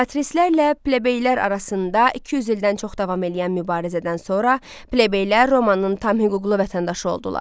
Patristlərlə plebeylər arasında 200 ildən çox davam eləyən mübarizədən sonra plebeylər Romanın tam hüquqlu vətəndaşı oldular.